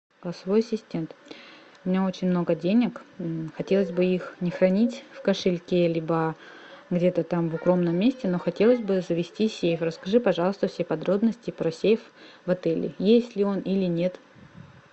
голосовой ассистент у меня очень много денег хотелось бы их не хранить в кошельке либо где то там в укромном месте но хотелось бы завести сейф расскажи пожалуйста все подробности про сейф в отеле есть ли он или нет